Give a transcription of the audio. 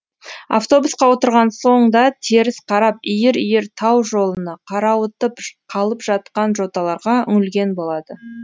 автобусқа отырған соң да теріс қарап иір иір тау жолына қарауытып қалып жатқан жоталарға үңілген болады